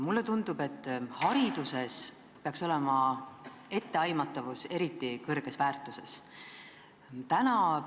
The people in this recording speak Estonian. Mulle tundub, et hariduses peaks etteaimatavus olema eriti kõrgelt väärtustatud.